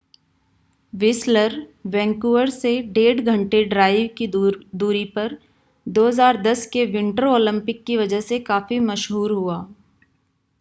Whistler Vancouver से 1.5 घंटे drive की दूरी पर 2010 के विंटर ओलंपिक की वजह से काफ़ी मशहूर हुआ